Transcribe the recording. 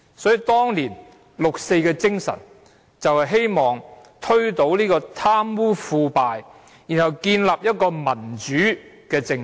所以，當年六四的精神就是希望推倒貪污腐敗，然後建立一個民主政制。